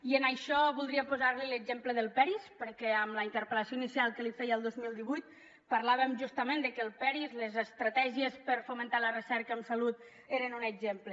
i sobre això voldria posar li l’exemple del peris perquè en la interpel·lació inicial que li feia el dos mil divuit parlàvem justament de que el peris les estratègies per fomentar la recerca en salut n’eren un exemple